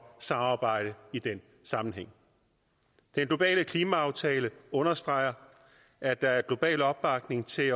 samarbejde i den sammenhæng den globale klimaaftale understreger at der er global opbakning til